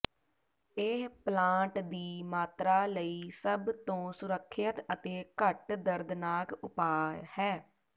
ਇਹ ਪਲਾਂਟ ਦੀ ਮਾਤਰਾ ਲਈ ਸਭ ਤੋਂ ਸੁਰੱਖਿਅਤ ਅਤੇ ਘੱਟ ਦਰਦਨਾਕ ਉਪਾਅ ਹੈ